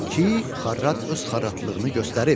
Ki, xarrat öz xarratlığını göstərib.